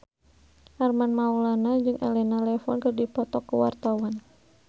Armand Maulana jeung Elena Levon keur dipoto ku wartawan